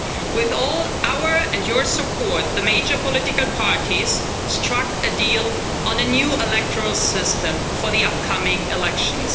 With all our and your support, the major political parties struck a deal on a new electoral system for the upcoming elections.